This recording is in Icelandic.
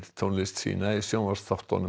tónlist sína í sjónvarpsþáttunum